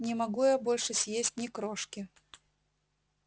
не могу я больше съесть ни крошки